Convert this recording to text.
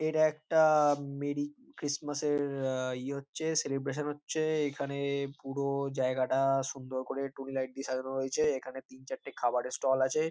এটা একটা merry Christmas -এর আ ইয়ে হচ্ছে সেলিব্রেশন হচ্ছে। এখানে পুরো জায়গাটা সুন্দর করে টুনি লাইট দিয়ে সাজানো হয়েছে। এখানে তিন চারটে খাবারের স্টল আছে।